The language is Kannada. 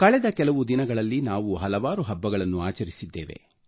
ಕಳೆದ ಕೆಲವು ದಿನಗಳಲ್ಲಿ ನಾವು ಹಲವಾರು ಹಬ್ಬಗಳನ್ನು ಆಚರಿಸಿದ್ದೇವೆ